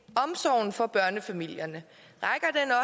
omsorgen for børnefamilierne